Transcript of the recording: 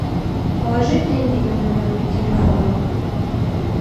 положи деньги на мой номер телефона